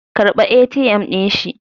karɓa ATM din shi